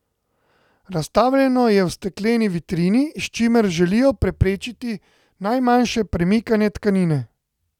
Razstavljeno je v stekleni vitrini, s čimer želijo preprečiti najmanjše premikanje tkanine.